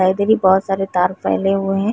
बहुत सारे तार फैले हुए हैं।